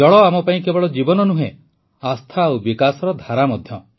ଜଳ ଆମ ପାଇଁ କେବଳ ଜୀବନ ନୁହେଁ ଆସ୍ଥା ଆଉ ବିକାଶର ଧାରା ମଧ୍ୟ